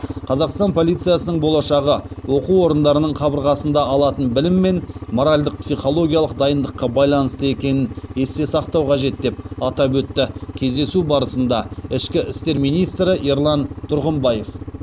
қазақстан полициясының болашағы оқу орындарының қабырғасында алатын білім мен моральдық психологиялық дайындыққа байланысты екенін есте сақтау қажет деп атап өтті кездесу барысында ішкі істер министрі ерлан тұрғымбаев